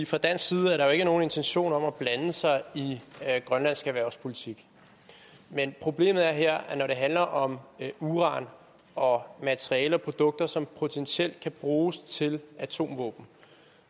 fra dansk side er der jo ikke nogen intention om at blande sig i grønlandsk erhvervspolitik men problemet er her at når det handler om uran og materialer og produkter som potentielt kan bruges til atomvåben